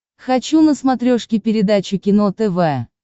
хочу на смотрешке передачу кино тв